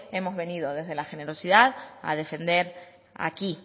hemos venido desde la generosidad a defender aquí